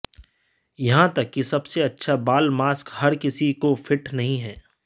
यहां तक कि सबसे अच्छा बाल मास्क हर किसी को फिट नहीं है